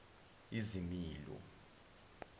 izimilo